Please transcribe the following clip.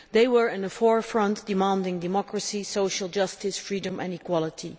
They were in the forefront, demanding democracy, social justice, freedom and equality.